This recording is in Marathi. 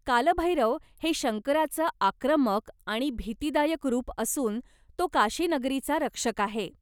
कालभैरव हे शंकराचं आक्रमक आणि भीतिदायक रूप असून तो काशी नगरीचा रक्षक आहे.